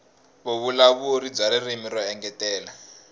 vuvulavuri bya ririmi ro engetela